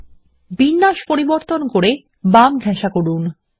এবং বিন্যাস পরিবর্তন করে বামদিকে করুন